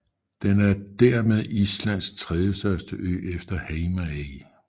Den er dermed Islands tredjestørste ø efter Heimaey